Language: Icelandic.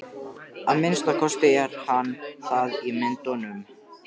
Að minnsta kosti er hann það í myndunum.